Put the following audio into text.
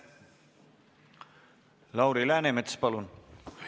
Lauri Läänemets, palun!